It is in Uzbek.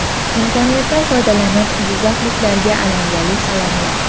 Imkoniyatdan foydalanib jizzaxliklarga alangali salomlar.